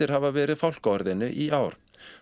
hafa verið fálkaorðunni í ár